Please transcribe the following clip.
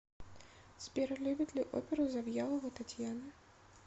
сбер любит ли оперу завьялова татьяна